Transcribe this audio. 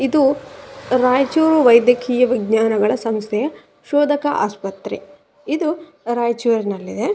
ಇದು ರಾಯಚೂರು ವೈದಕೀಯ ವಿಜ್ನಾನಗಳ ಸಂಸ್ಥೆ ಶೋದಕ ಆಸ್ಪತ್ರೆ ಇದು ರಾಯಚೂರ್ನಲ್ಲಿದೆ.